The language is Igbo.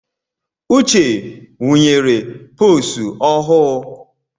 Uche wunyere posu ọhụụ̣